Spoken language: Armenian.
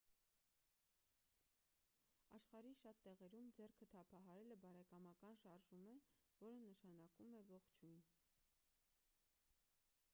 աշխարհի շատ տեղերում ձեռքը թափահարելը բարեկամական շարժում է որը նշանակում է ողջույն